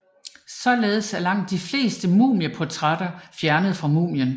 Således er langt de fleste mumieportrætter fjernet fra mumien